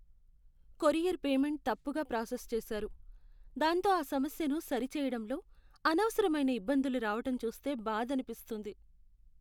Courier payment తప్పుగా process చేసారు, దాంతో ఆ సమస్యను సరిచేయడంలో అనవసరమైన ఇబ్బందులు రావటం చూస్తే బాధనిపిస్తుంది.